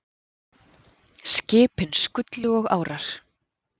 Skipin skullu og árar